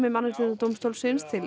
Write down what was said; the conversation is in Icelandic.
Mannréttindadómstólsins til